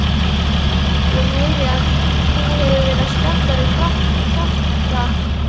Ég heyri að þú hefur verið að spjalla við kjafta